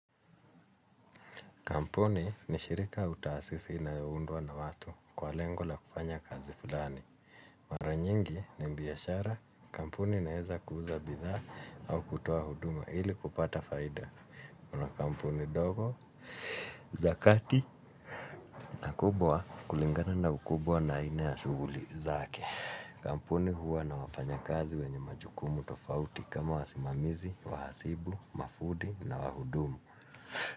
Kampuni ni shirika la utaasisi inaoyaundwa na watu kwa lengo la kufanya kazi fulani. Mara nyingi ni biashara. Kampuni inaeza kuuza bidhaa au kutuoa huduma ili kupata faida. Kuna kampuni ndogo, za kati na kubwa kulingana na ukubwa na aina ya shuguli zake. Kampuni huwa na wafanyakazi wenye majukumu tofauti kama wasimamizi, wahasibu, mafundi na wahudumu.